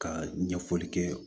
Ka ɲɛfɔli kɛ